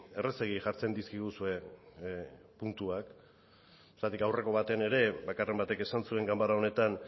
errazegi jartzen dizkiguzue puntuak zergatik aurreko batean ere bakarren batek esan zuen ganbara honetan